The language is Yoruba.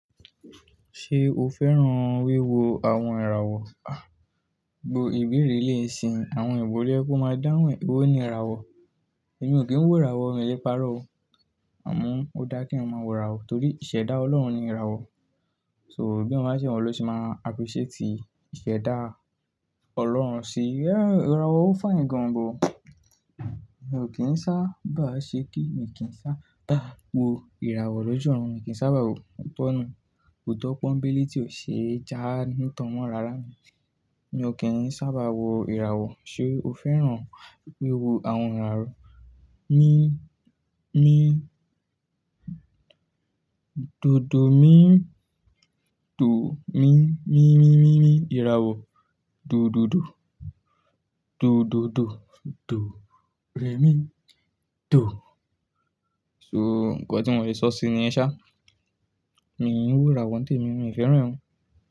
Ṣé o fẹ́ràn wíwo àwọn ìràwọ̀? Gbo ìbéèrè ẹlẹ́yìí nisinyii àwọn ìwò lo ye ko máa dáhùn re, ewó ni ìràwọ̀. Èmi ò kí ń wò ìràwọ̀ oo, èmi o lẹ́ parọ́ o. Àmọ́ ó dáa kí ẹ̀yàn máa wò ìràwọ̀ torí ìṣẹ́dá Ọlọ́run ni ìràwọ̀. So bí o ba ṣe wun o ni o ṣe máa appreciate ìṣẹ́dá Ọlọ́run sí. Yeah, ìràwọ̀ ò fine gan but. Èmi ò kín sábà ṣe kí èmi kí ń sábaá wo ìràwọ̀ lójú wọn, èmi kì í sábà wò bọ́nu, òótọ́ pọ́nbẹ́lé tí ò ṣeẹ jáá ní ìtàn mọ́ rárá ni. Èmi ò kí ń sábà wo ìràwọ̀. Ṣé o fẹ́ràn wíwo àwọn ìràwọ̀? Mi, mi, dodo mi, do mi, mi, mi, mi, mi ìràwọ̀. Do, do, do, do, do, do, do, re mi, do. So nǹkan tí mo lè sọ síi nìyẹn sàà. Èmi ò kí ń wò ìràwọ̀ tẹ́ẹ̀, èmi ò fẹ́ràn wọn.